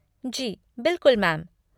जी बिल्कुल मैम।